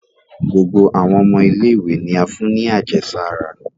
Gbogbo awọn ọmọ ile-iwe ni a fún ní àjẹsárá